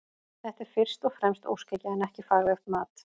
Þetta er fyrst og fremst óskhyggja en ekki faglegt mat.